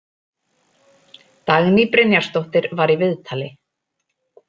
Dagný Brynjarsdóttir var í viðtali.